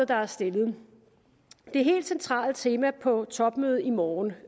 der er stillet det helt centrale tema på topmødet i morgen